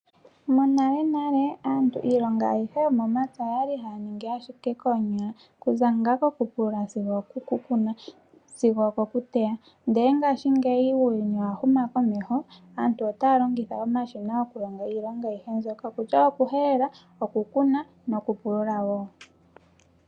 Monalenale aantu iilongo ayihe yomomapya oyali haya ningi ashike koonyala okuza ngaa kokupulula sigo okoku kuna sigo oko ku teya. Ndele ngashingeyi uuyuni owa huma komeho aantu otaa longitha omashina okulonga iilonga ayihe mbyoka okutya okuhelela, okukuna nokupulula wo.